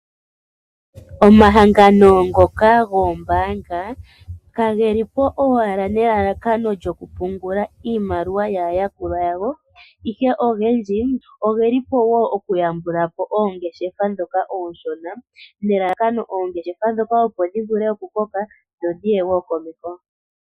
Omahangano ngoka goombaanga kage li po owala nelalakano lyokupungula iimaliwa yaayakulwa yawo ihe ogendji ogeli po wo okuyambula po oongeshefa ndhoka onshona nelalakano oongeshefa ndhoka opo dhi vule okukoka dho dhi ye wo komeho.